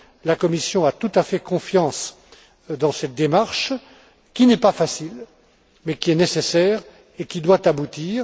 La Commission a tout à fait confiance dans cette démarche qui n'est pas facile mais qui est nécessaire et qui doit aboutir.